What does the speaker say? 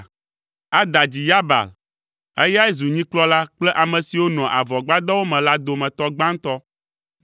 Ada dzi Yabal. Eyae zu nyikplɔla kple ame siwo nɔa avɔgbadɔwo me la dometɔ gbãtɔ.